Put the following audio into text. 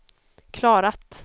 klarat